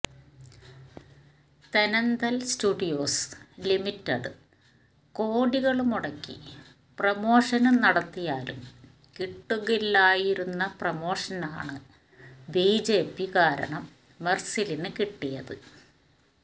Thenandal studios limited കോടികള് മുടക്കി promotion നടത്തിയാലും കിട്ടുകില്ലായിരുന്ന പ്രമോഷനാണ് ബിജെപി കാരണം മെര്സലിന് കിട്ടിയത്